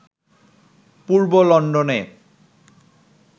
পূর্ব লন্ডনে